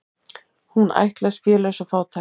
Hún ættlaus, félaus og fátæk.